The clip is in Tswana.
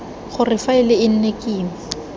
gore faele e nne kima